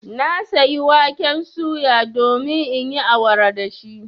Na sayi waken suya domin in yi awara da shi.